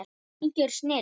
Algjör snilld.